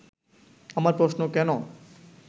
আমার প্রশ্ন, কেন